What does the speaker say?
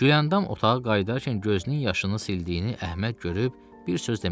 Gülyandam otağa qayıdarkən gözünün yaşını sildiyini Əhməd görüb bir söz demədi.